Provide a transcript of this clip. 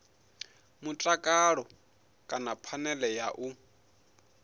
mutakalo kana phanele ya u